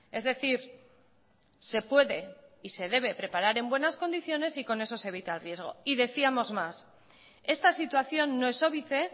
es decir se puede y se debe preparar en buenas condiciones y con eso se evita el riesgo y decíamos más esta situación no es óbice